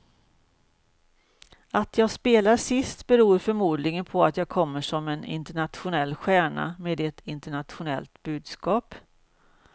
Att jag spelar sist beror förmodligen på att jag kommer som en internationell stjärna med ett internationellt budskap.